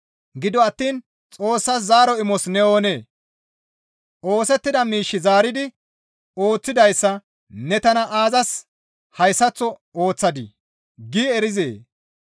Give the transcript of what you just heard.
Gido attiin Xoossas zaaro imos ne oonee? «Oosettida miish zaaridi ooththidayssa ne tana aazas hayssaththo ooththadii?» gi erizee?